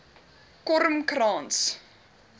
kormkrans